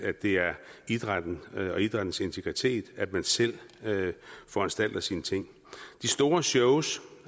at det er idrætten og idrættens integritet at man selv foranstalter sine ting det store shows